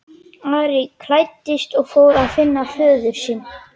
Ari klæddist og fór að finna föður sinn.